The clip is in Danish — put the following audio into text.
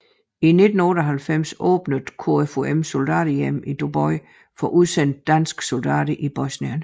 I 1998 åbnede KFUMs Soldaterhjem i Doboj for udsendte danske soldater i Bosnien